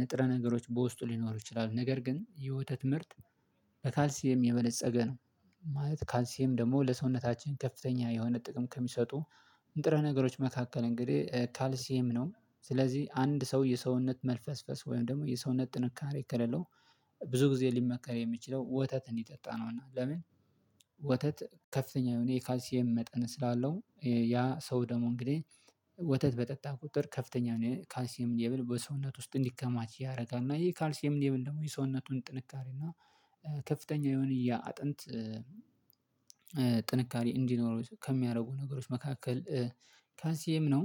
ንጥረ ነገሮች በውስጡ ሊኖሩ ይችላሉ ነገር ግን የወተት ምርት በካልሲየም የበነፀገ ነው ማለት ካልሲኤም ደግሞ ለሰውነታችን ከፍተኛ የሆነ ጥቅም ከሚሰጡ ንጥረ ነገሮች መካከል እንግዲህ ካልሲየም ነው። ስለዚህ አንድ ሰው የሰውነት መልፈስፈስ ወይም ደግሞ የሰውነት ጥንካሬ ከሌለው ብዙ ጊዜ ሊመከር የሚችለው ወተት እንዲጠጣ ነው እና ለምን? ወተት ከፍተኛ የሆነ የካልሲኤም መጠን ስላለው ያ ሰው ደግሞ እንግዲህ ወተት በጠጣ ቁጥር ከፍተኛ ነው ካልሲኤም ሌብል በሰውነቱ ውስጥ እንዲከማች ያደርጋል። እና ይሄ ካልሲየም ሌቭል ደግሞ የሰውነቱን ጥንካሬ እና ከፍተኛ የሆነ ያ አጥንት ጥንካሬ እንዲኖረው ከሚያደርጉ ነገሮች መካከል ካልሲየም ነው።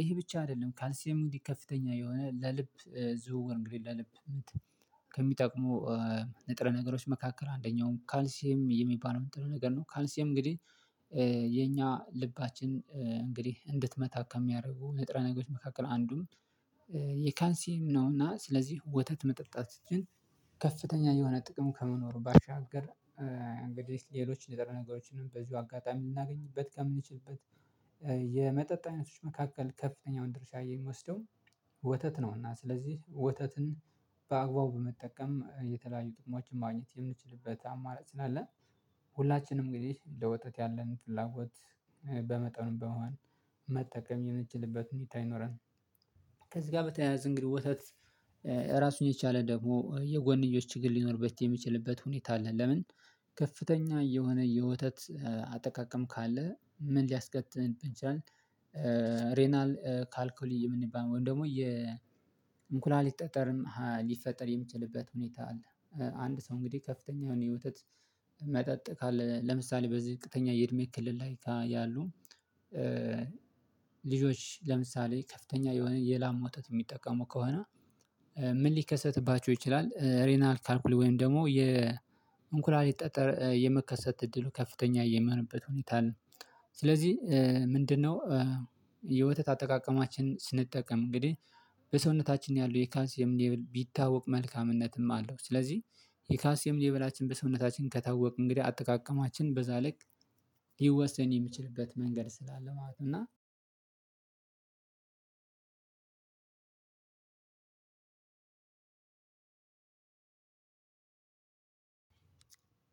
ይሄ ብቻ አይደለም ካንሲየም እንዲህ ከፍተኛ የሆነ ለልብ ዝውውር እንግዲህ ለልብምት ከሚጠቅሙ ንጥረ ነገሮች መካከል አንደኛውን ካልሲም የሚባለውን ጥሩ ነገር ነው። ካልሲም እንግዲህ የኛ ልባችን እንግዲህ እንድትመታ ከሚያደርጉ ንጥረ ነገሮች መካከል አንዱም የካልሲም ነው እና ስለዚህ ወተት መጠጣት ግን ከፍተኛ የሆነ ጥቅም ከመኖሩ ባሻገር እንግዲህ ሌሎች ንጥረ ነገሮችንም በዚሁ አጋጣሚ የምናገኝበት ከምንችልበት የመጠጥ አይነቶች መካከል ከፍተኛውን ድርሻ የሚወስደው ወተት ነው እና ስለዚህ ወተትን በአግባቡ በመጠቀም የተለያዩ ጥቅሞችን ማግኘት የምንችልበት አማራጭ ነው ያለን ሁላችንም እንግዲህ እንደ ወጣት ያለን ፍላጎት በመጠኑ በመሆን መጠቀም የምችልበት እንዲታይ ይኖራል። ከዚህ ጋር በተያያዘ እንግዲህ ወተት ራሱን የቻለ ደግሞ የጎንዮሽ ችግር ሊኖርበት የሚችልበት ሁኔታ አለ ለምን? ከፍተኛ የሆነ የወተት አጠቃቀም ካለ ምን ሊያስከትል ይችላል ሬናል ካልኩሊ የምንባል ወይም ደግሞ የእንኩላሊት ጠጠርም ሊፈጠር የሚችልበት ሁኔታ አለ አንድ ሰው እንግዲህ ከፍተኛ የሆነ የውተት ካለ ለምሳሌ በዝቅተኛ የእድሜ ክልል ላይ ያሉ ልጆች ለምሳሌ ከፍተኛ የሆነ የላም ወተት የሚጠቀሙ ከሆነ ምን ሊከሰትባቸው ይችላል ሬናል ካልኩል ወይም ደግሞ የኩላሊት ጠጠር የመከሰት እድሉ ከፍተኛ የሚሆንበት ሁኔታ አለ። ስለዚህ ምንድነው የወተት አጠቃቀማችን ስንጠቀም እንግዲህ በሰውነታችን ያሉ የካልሲየም ሌብል ቢታወቅ መልካምነትም አለው ስለዚህ የካልሲየም ሌብላችን በሰውነታችን ከታወቅ እንግዲህ አጠቃቀማችን በዛ ልክ ሊወሰን የሚችልበት መንገድ ስላለ ማለት ነው እና አዎ